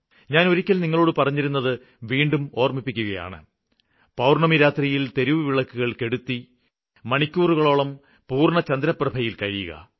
ഞാന് ഒരിക്കല് നിങ്ങളോട് പറഞ്ഞിരുന്നത് വീണ്ടും ഓര്മ്മിപ്പിക്കുകയാണ് പൌര്ണ്ണമി രാത്രിയില് തെരുവുവിളക്കുകള് കെടുത്തി മണിക്കൂറുകളോളം പൂര്ണ്ണചന്ദ്രപ്രഭയില് കഴിയുക